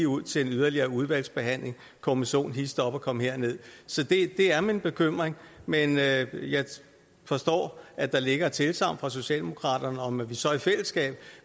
ud til yderligere udvalgsbehandling kommission hist op og kom herned så det er min bekymring men jeg forstår at der ligger et tilsagn fra socialdemokraterne om at vi så i fællesskab